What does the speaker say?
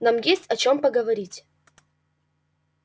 нам есть о чём поговорить